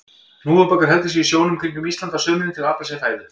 Hnúfubakur heldur sig í sjónum kringum Ísland á sumrin til að afla sér fæðu.